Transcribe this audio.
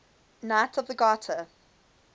knights of the garter